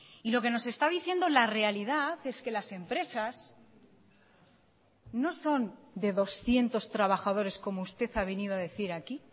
y lo que nos está diciendo la realidad es que las empresas no son de doscientos trabajadores como usted ha venido a decir aquí